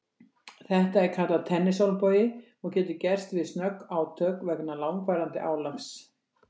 Þetta er kallað tennisolnbogi og getur gerst við snögg átök vegna langvarandi álags.